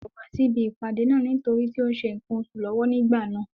Kò wá sí ibi ìpàdé náà nítorí tí ó ń ṣe nǹkan oṣù lọ́wọ́ nígbà náà.